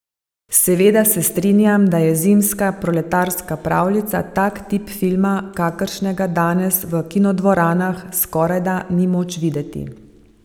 Seveda se strinjam, da je Zimska proletarska pravljica tak tip filma, kakršnega danes v kinodvoranah skorajda ni moč videti.